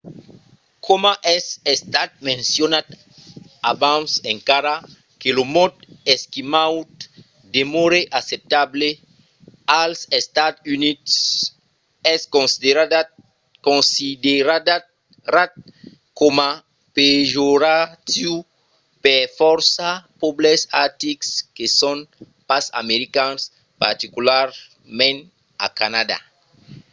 coma es estat mencionat abans encara que lo mot esquimaud demòre acceptable als estats units es considerat coma pejoratiu per fòrça pòbles artics que son pas americans particularament a canadà